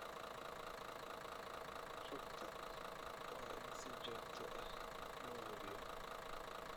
rugta waa in si joogto ah loo hubiyo.